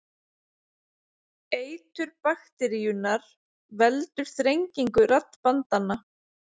Eitur bakteríunnar veldur þrengingu raddbandanna.